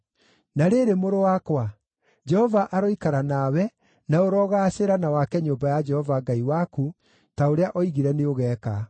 “Na rĩrĩ, mũrũ wakwa, Jehova aroikara nawe, na ũrogaacĩra na wake nyũmba ya Jehova Ngai waku, ta ũrĩa oigire nĩũgeeka.